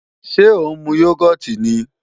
Ṣé ó ń mu yógọ́ọ̀tì ni?